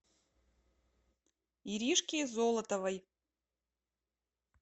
иришки золотовой